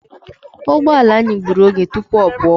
Ugboelu anyị gburu oge tụpụ ọ pụọ.